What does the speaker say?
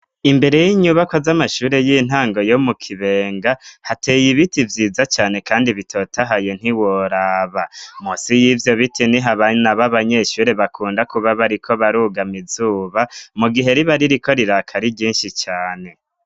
Imbere y'inyubako z'amashuri y'intango yo mu kibenga hateye ibiti vyiza cane, kandi bitotahayo ntiworaba musi y'ivyo bite ni ho abana abo abanyeshuri bakunda kuba bariko barugama izuba mu gihe riba ari riko rirakari ryinshi cane.